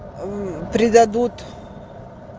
предадут